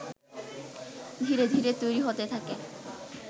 ধীরে ধীরে তৈরি হতে থাকে